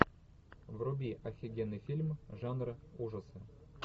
вруби офигенный фильм жанра ужасы